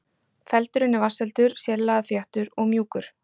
Feldurinn er vatnsheldur, sérlega þéttur og mjúkur.